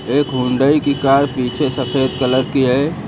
एक हुंडई की कार पीछे सफेद कलर की है।